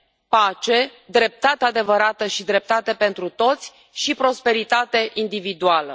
pace, dreptate adevărată și dreptate pentru toți și prosperitate individuală.